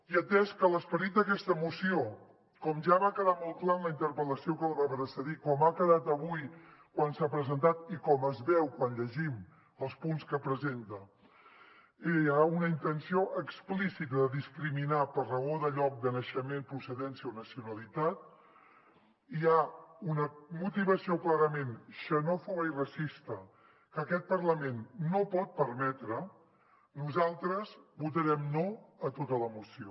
i atès que en l’esperit d’aquesta moció com ja va quedar molt clar en la interpel·la ció que la va precedir com ha quedat avui quan s’ha presentat i com es veu quan llegim els punts que presenta hi ha una intenció explícita de discriminar per raó de lloc de naixement procedència o nacionalitat hi ha una motivació clarament xenòfoba i racista que aquest parlament no pot permetre nosaltres votarem no a tota la moció